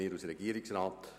7.e Prämienverbilligungen